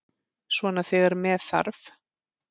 Svona þegar með þarf.